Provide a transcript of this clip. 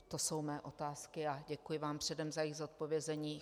To jsou mé otázky a děkuji vám předem za jejich zodpovězení.